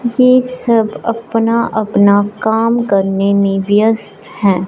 ये सब अपना अपना काम करने में व्यस्त हैं।